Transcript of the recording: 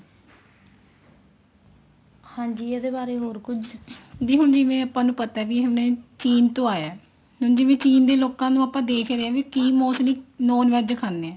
ਹਾਂਜੀ ਇਹਦੇ ਬਾਰੇ ਹੋਰ ਕੁੱਝ ਦੀਦੀ ਜਿਵੇਂ ਹੁਣ ਆਪਾਂ ਨੂੰ ਪਤਾ ਵੀ ਹੁਣ ਇਹ ਚੀਨ ਤੋਂ ਆਇਆ ਹੁਣ ਜਿਵੇਂ ਚੀਨ ਦੇ ਲੋਕਾਂ ਨੂੰ ਆਪਾਂ ਦੇਖ ਰਹੇ ਹਾਂ ਵੀ mostly non VEG ਖਾਂਦੇ